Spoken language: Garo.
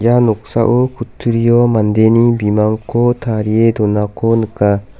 ia noksao kutturio mandeni bimangko tarie donako nika.